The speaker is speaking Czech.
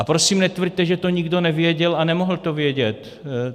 A prosím netvrďte, že to nikdo nevěděl a nemohl to vědět.